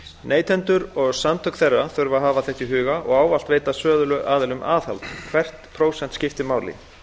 neytendur og samtök þeirra þurfa að hafa þetta í huga og ávallt veita söluaðilum aðhald hvert prósent skiptir máli